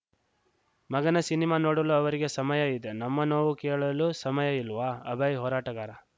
ಮಗನ ಸಿನಿಮಾ ನೋಡಲು ಅವರಿಗೆ ಸಮಯ ಇದೆ ನಮ್ಮ ನೋವು ಕೇಳಲು ಸಮಯ ಇಲ್ವಾ ಅಭಯ್‌ ಹೋರಾಟಗಾರ